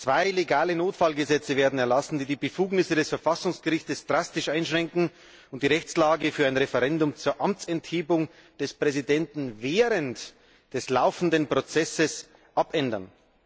Zwei legale Notfallgesetze werden erlassen, die die Befugnisse des Verfassungsgerichts drastisch einschränken und die Rechtslage für ein Referendum zur Amtsenthebung des Präsidenten während des laufenden Prozesses abändern.